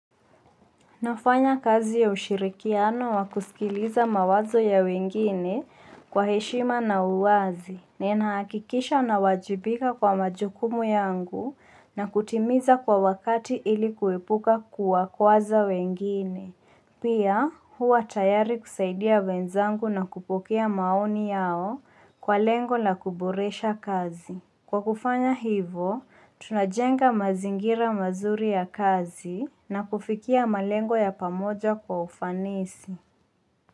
Nafanya kazi ya ushirikiano wa kusikiliza mawazo ya wengine, kwa heshima na uwazi. Ninahakikisha nawajibika kwa majukumu yangu, na kutimiza kwa wakati ili kuepuka kuwakwaza wengine. Pia, huwa tayari kusaidia wenzangu na kupokea maoni yao, kwa lengo la kuboresha kazi. Kwa kufanya hivo, tunajenga mazingira mazuri ya kazi, na kufikia malengo ya pamoja kwa ufanisi.